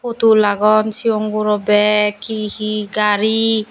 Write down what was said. putul agon cigon guro beg hihi gari.